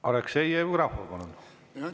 Aleksei Jevgrafov, palun!